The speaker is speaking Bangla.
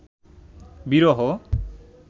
বিরহ